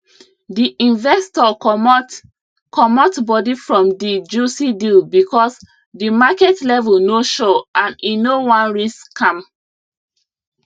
the investor comot comot body from the juicy deal because the market level no sure and e no wan risk am